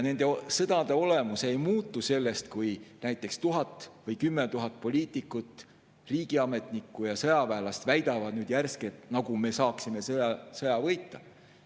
Nende sõdade olemus ei muutu sellest, kui näiteks 1000 või 10 000 poliitikut, riigiametnikku ja sõjaväelast järsku väidavad, nagu me saaksime sõja võita.